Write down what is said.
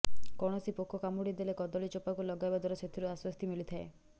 କୌଣସି ପୋକ କାମୁଡି ଦେଲେ କଦଳୀ ଚୋପାକୁ ଲଗାଇବା ଦ୍ବାରା ସେଥିରୁ ଆଶ୍ବସ୍ତି ମିଳିଥାଏ